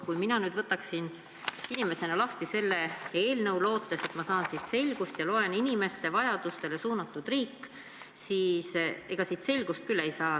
Kui mina nüüd võtan inimesena lahti selle eelnõu, lootes, et ma saan siit selgust, ja loen teemat "Inimeste vajadustele suunatud riik", siis ega ma siit selgust küll ei saa.